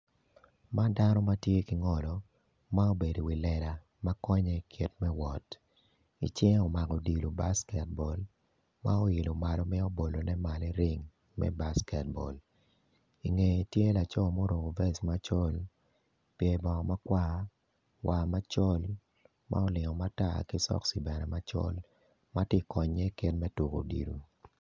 Man dano matye ki ngolo ma obedo i wi lela makonye i kit me wot icinge omako odilo basket ball ma oilo malo mito bolo malo i ring me basket ball ingeye tye laco ma oruko vest macol pyer bongo makwar war macol ma olingo matar ki sokci bene macol matye konye ken me tuko odilo.